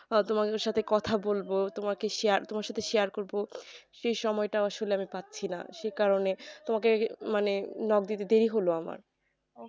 বা তোমার সাথে কথা বলবো তোমাকে share তোমার সাথে share করবো সেই সময়টাও আমি আসলে পাচ্ছি না সেই কারণে তোমাকে মানে knock দিতে দেরি হল আমার